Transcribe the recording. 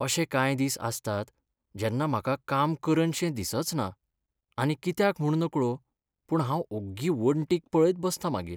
अशे कांय दिस आसतात जेन्ना म्हाका काम करनशें दिसचना आनी कित्याक म्हूण नकळो पूण हांव ओग्गी वणटींक पळयत बसतां मागीर.